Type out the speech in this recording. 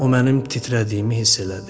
O mənim titrədiyimi hiss elədi.